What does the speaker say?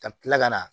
Ka tila ka na